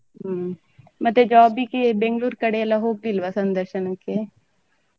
ಹ್ಮ್ ಮತ್ತೆ job ಗೆ Bangalore ಕಡೆ ಎಲ್ಲ ಹೋಗ್ಲಿಲ್ವ ಸಂದರ್ಶನಕ್ಕೆ.